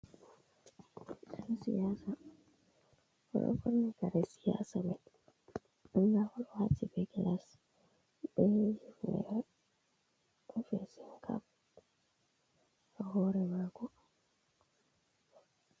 Yan siyasa. Oɗo fauni kare siyasa mai. Ɗa oɗo wati be gilas, be hufnere, be fesin kap ha hore mako.